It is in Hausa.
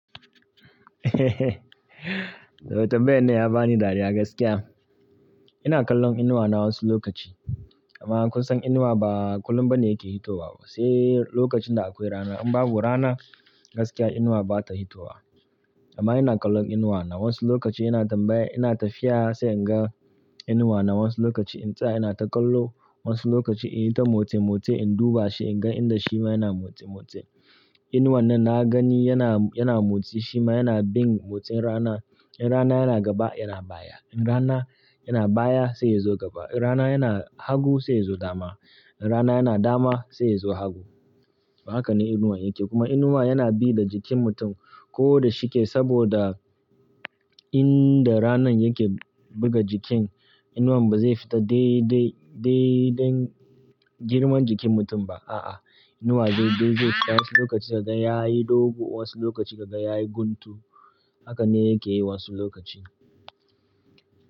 Dr. Ben ne ya bani dariya gaskiya. Ina kallon inuwa na wasu lokaci amma kun san inuwa ba kullum ba ne yake fitowa ba, sai lokacin da akwai rana. In babu rana gaskiya inuwa bata hitowa. Amma ina kallon inuwa na wasu lokaci ina tambaya ina tafiya sai in ga inuwa na wasu lokaci intsaya ina ta kallo wasu lokaci in yi ta motsi-motsi in duba shi in ga inda shima yana motsi-motsi. Inuwan nan na gani yana, yana motsi shima yana bin motsin rana. In rana yana gaba yana baya, in rana yana baya sai ya zo gaba, in rana yana hagu sai ya zo dama, in rana yana dama sai ya zo hagu. Haka ne inuwa yake. Kuma inuwa yana bi da jikin mutum ko da shike saboda inda ranan yake buga jikin inuwan ba zai fita dai, dai, dai dan girman jikin mutum ba, a'a. Inuwa dai, dai, zai tashi wasu lokaci gaga ya yi dogu, wasu lokaci gaga ya yi guntu. Haka ne yake yi wasu lokaci.